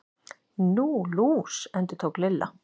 Nú, lús. endurtók Lilla.